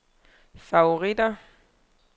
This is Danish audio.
favoritter